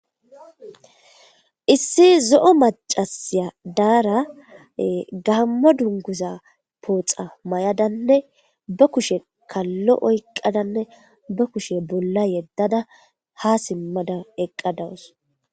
Issi zo'o macashi dara ee gammo dunguza poxa mayadanne be kushshen kalo oykadanne be kushe bolla simada ha eqa dawus